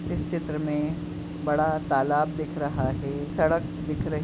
इस चित्र में बड़ा तालाब दिख रहा हे सड़क दिख रही --